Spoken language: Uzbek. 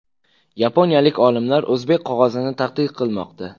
Yaponiyalik olimlar o‘zbek qog‘ozini tadqiq qilmoqda.